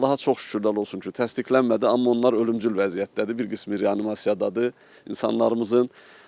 Allaha çox şükürlər olsun ki, təsdiqlənmədi, amma onlar ölümcül vəziyyətdədir, bir qismi reanimasiyadadır insanlarımızın.